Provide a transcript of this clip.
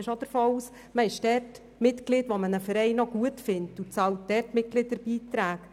Ich gehe davon aus, dass man nur Mitglied eines Vereins ist und Mitgliederbeiträge bezahlt, wenn man einen Verein gut findet.